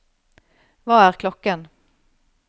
hva er klokken